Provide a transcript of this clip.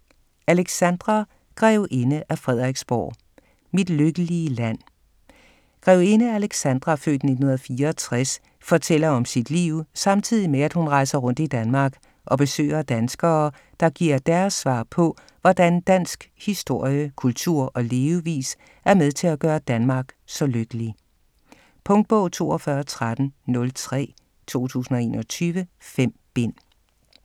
Alexandra grevinde af Frederiksborg: Mit lykkelige land Grevinde Alexandra (f. 1964) fortæller om sit liv, samtidig med hun rejser rundt i Danmark og besøger danskere, der giver deres svar på, hvordan dansk historie, kultur og levevis er med til at gøre Danmark så lykkelig. Punktbog 421303 2021. 5 bind.